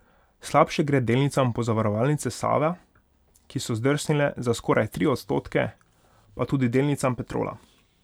Slabše gre delnicam Pozavarovalnice Sava, ki so zdrsnile za skoraj tri odstotke, pa tudi delnicam Petrola.